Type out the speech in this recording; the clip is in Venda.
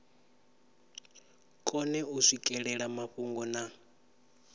kone u swikelela mafhungo na